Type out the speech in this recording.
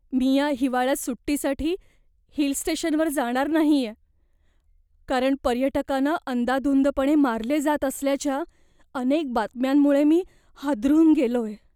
मी या हिवाळ्यात सुट्टीसाठी हिल स्टेशनवर जाणार नाहिये, कारण पर्यटकांना अंदाधुंदपणे मारले जात असल्याच्या अनेक बातम्यांमुळे मी हादरून गेलोय.